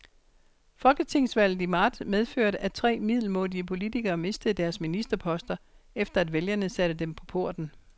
Folketingsvalget i marts medførte, at tre middelmådige politikere mistede deres ministerposter, efter at vælgerne satte dem på porten.